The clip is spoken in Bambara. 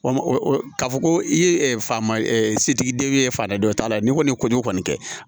Walima ka fɔ ko i ye fa ma setigi den ye fatan dɔ t'a la ni kɔni y'o kɔni kɛ